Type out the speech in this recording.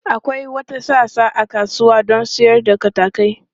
Akwai wata sassa a kasuwa don sayar da katakai.